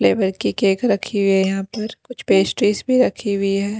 Flavour की cake रखी हुई है यहां पर कुछ पेस्ट्रीज भी रखी हुई है।